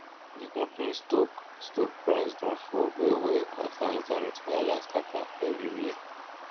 d company stock stock price don fall well well after internet wahala scatter everywhere